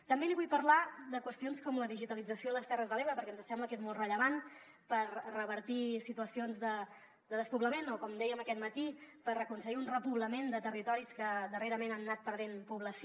també li vull parlar de qüestions com la digitalització a les terres de l’ebre perquè ens sembla que és molt rellevant per revertir situacions de despoblament o com dèiem aquest matí per aconseguir un repoblament de territoris que darrerament han anat perdent població